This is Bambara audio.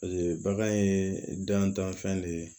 bagan ye dantanfɛn de ye